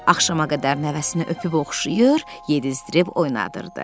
Axşama qədər nəvəsini öpüb oxşayır, yedizdirib oynadırdı.